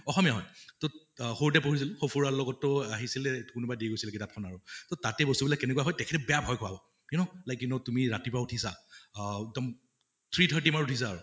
অসমীয়া হয় । তʼ সৰুতে পঢ়িছিলো, সফুৰা লগত তো আহিছিলে, কোনোৱা দি গৈছিলে কিতাপ খন আৰু । তʼ তাতে বস্তু বিলাক কেনেকুৱা হয়, তেখেতে বেয়া ভয় খোৱাব you known, like you known তুমি ৰাতিপুৱা উঠিছা আ একদম three thirty মানত উঠিছা আৰু